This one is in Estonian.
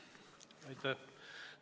Aitäh!